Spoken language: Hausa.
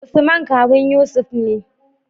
Usman kawun yusuf ne